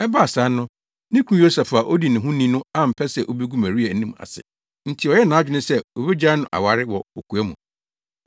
Ɛbaa saa no, ne kunu Yosef a odi ne ho ni no ampɛ sɛ obegu Maria anim ase nti ɔyɛɛ nʼadwene sɛ obegyaa no aware wɔ kokoa mu.